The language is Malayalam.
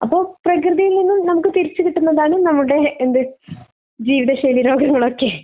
അപ്പോൾ പ്രകൃതിയിൽ നിന്നും നമുക്ക് തിരിച്ച് കിട്ടുന്നതാണ് നമ്മളുടെ എന്ത് ജീവിതശൈലി രോഗങ്ങളൊക്കെ.